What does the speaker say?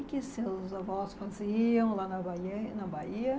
O que seus avós faziam lá na baia, na Bahia?